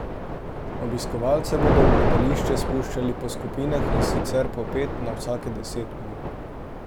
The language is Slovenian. Obiskovalce bodo v gledališče spuščali po skupinah, in sicer po pet na vsake deset minut.